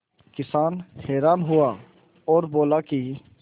किसान हैरान हुआ और बोला कि